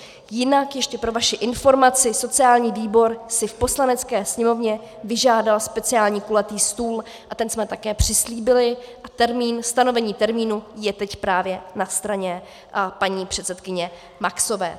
Jinak ještě pro vaši informaci, sociální výbor si v Poslanecké sněmovně vyžádal speciální kulatý stůl a ten jsme také přislíbili a stanovení termínu je teď právě na straně paní předsedkyně Maxové.